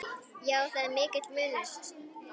Já, það er mikill munur.